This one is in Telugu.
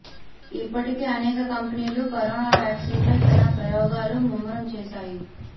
ఇప్పటికే అనేక కంపెనీలు కరోనా వ్యాక్సిన్పై తన ప్రయోగాలను ముమ్మరం చేశాయి